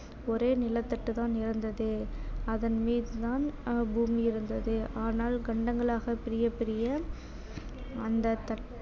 ஒரே நிலத்தட்டுதான் இருந்தது அதன் மீதுதான் ஆஹ் பூமி இருந்தது ஆனால் கண்டங்களாக பிரிய பிரிய அந்த